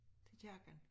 Til kirken